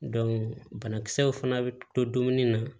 banakisɛw fana bɛ to dumuni na